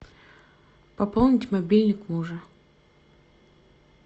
пополнить мобильник мужа